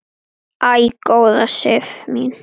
Æ, góða Sif mín!